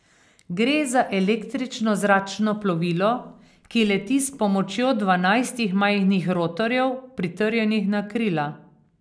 Gre za električno zračno plovilo, ki leti s pomočjo dvanajstih majhnih rotorjev, pritrjenih na krila.